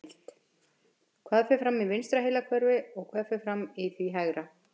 Heimild: Hvað fer fram í vinstra heilahveli og hvað fer fram í því hægra?